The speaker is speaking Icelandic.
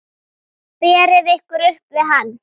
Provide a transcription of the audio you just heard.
Berið ykkur upp við hann!